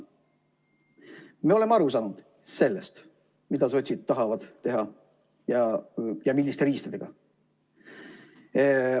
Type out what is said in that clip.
Me oleme aru saanud sellest, mida sotsid tahavad teha ja milliste riistadega.